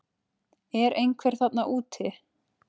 Er einhver þarna úti